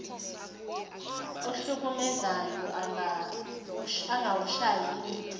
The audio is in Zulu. ohlukumezayo engawushayi ndiva